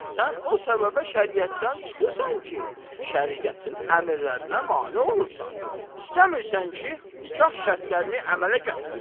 Sən o səbəbə şəriətdən çıxırsan ki, şəriətin əmrlərinə mane olursan, istəmirsən ki, nikah şərtlərini əmələ gətirəsənmi?